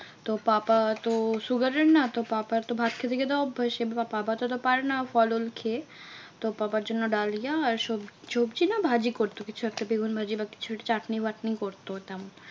তো পাপা তো sugar এর না? তো পাপার তো ভাত খেতে খেতে অভ্যাস এবার পাপা তো অত পারেনা ফল উল খেয়ে। তো পাপার জন্য ডালিয়া আর সবজি। সবজি না ভাজি করতো কিছু একটা বেগুন ভাজি বা কিছু চাটনি বাটনি করতো তেমন।